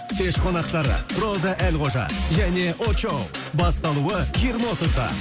кеш қонақтары роза әлқожа және очоу басталуы жиырма отызда